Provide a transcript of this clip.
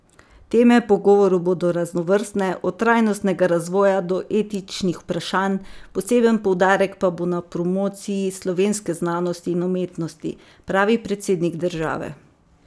Teme pogovorov bodo raznovrstne, od trajnostnega razvoja do etičnih vprašanj, poseben poudarek pa bo na promociji slovenske znanosti in umetnosti, pravi predsednik države.